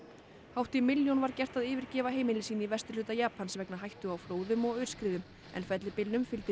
hátt í milljón var gert að yfirgefa heimili sín í vesturhluta Japans vegna hættu á flóðum og aurskriðum en fellibylnum fylgdi